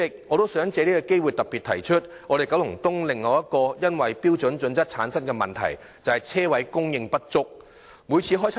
我想藉此機會特別提出九龍東另一個因《規劃標準》產生的問題，就是車位供應不足。